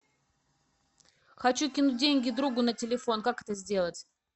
хочу кинуть деньги другу на телефон как это сделать